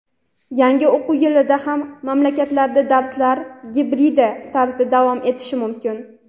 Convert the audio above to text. yangi o‘quv yilida ham maktablarda darslar gibrid tarzda davom etishi mumkin.